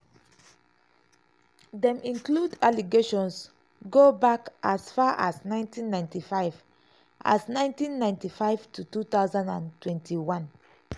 dem include allegations go back as far as 1995 as 1995 to 2021.